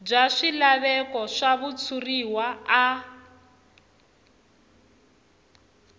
bya swilaveko swa switshuriwa a